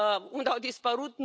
Unde au dispărut?